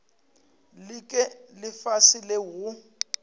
le ke lefase leo go